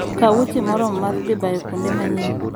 Kaw wuoche moromo mar dhi bayo kuonde manyien.